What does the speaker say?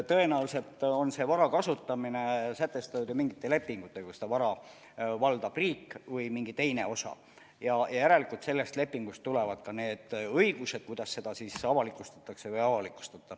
Tõenäoliselt on selle vara kasutamine reguleeritud mingite lepingutega, kui seda vara valdab riik, ja järelikult sellest lepingust tulevad ka need õigused, kuidas seda siis avalikustatakse või ei avalikustata.